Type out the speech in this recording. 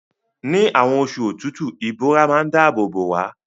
Ni àwon osu òtútù, ìbora má n dáábò bò wá